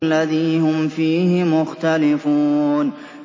الَّذِي هُمْ فِيهِ مُخْتَلِفُونَ